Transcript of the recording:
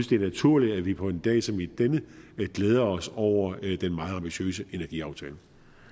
det er naturligt at vi på en dag som denne glæder os over den meget ambitiøse energiaftale